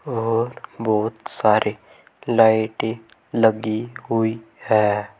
और बहुत सारे लाइटें लगी हुई है।